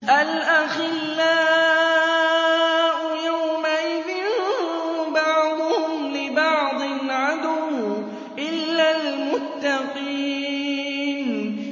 الْأَخِلَّاءُ يَوْمَئِذٍ بَعْضُهُمْ لِبَعْضٍ عَدُوٌّ إِلَّا الْمُتَّقِينَ